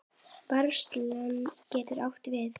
Er haglið depill hvítur?